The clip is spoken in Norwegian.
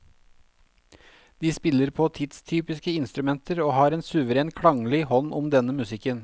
De spiller på tidstypiske instrumenter og har en suveren klanglig hånd om denne musikken.